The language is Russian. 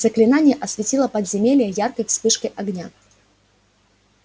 заклинание осветило подземелье яркой вспышкой огня